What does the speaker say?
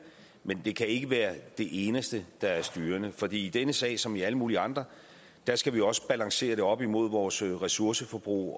men det kan ikke være det eneste der er styrende for i denne sag som i alle mulige andre skal vi også balancere det op imod vores ressourceforbrug